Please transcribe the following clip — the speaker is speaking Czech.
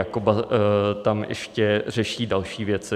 Jakoba tam ještě řeší další věci.